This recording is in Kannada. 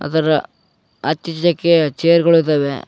ಅದರ ಆಚೀಚೆಗೆ ಚೇರ್ ಗಳು ಇದಾವೆ.